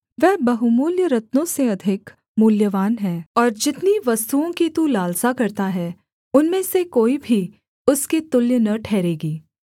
वह बहुमूल्य रत्नों से अधिक मूल्यवान है और जितनी वस्तुओं की तू लालसा करता है उनमें से कोई भी उसके तुल्य न ठहरेगी